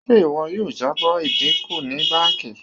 Ṣe iwọ yoo jabo idinku ni banki?